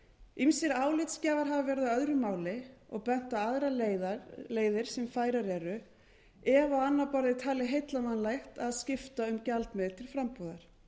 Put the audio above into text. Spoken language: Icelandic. ýmsir álitsgjafar hafa verið á öðru máli og bent á aðrar leiðir sem færar eru ef á annað borð er talið heillavænlegt að skipta um gjaldmiðil til frambúðar